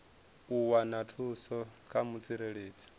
u wana thuso kha mutsireledzi